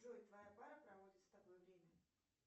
джой твоя пара проводит с тобой время